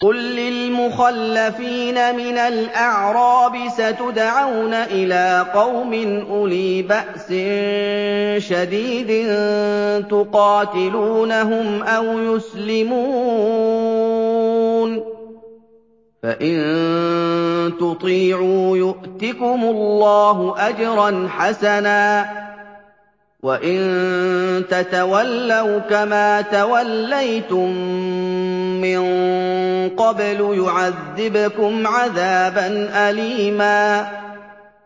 قُل لِّلْمُخَلَّفِينَ مِنَ الْأَعْرَابِ سَتُدْعَوْنَ إِلَىٰ قَوْمٍ أُولِي بَأْسٍ شَدِيدٍ تُقَاتِلُونَهُمْ أَوْ يُسْلِمُونَ ۖ فَإِن تُطِيعُوا يُؤْتِكُمُ اللَّهُ أَجْرًا حَسَنًا ۖ وَإِن تَتَوَلَّوْا كَمَا تَوَلَّيْتُم مِّن قَبْلُ يُعَذِّبْكُمْ عَذَابًا أَلِيمًا